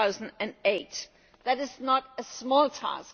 to 2008. That is not a small task.